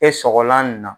E sɔgɔlan nin na